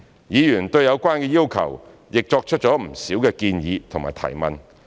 議員對有關的要求亦作出了不少建議和提問。